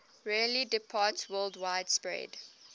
rarely departsworldwide spread